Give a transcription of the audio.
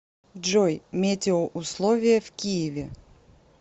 джой метеоусловия в киеве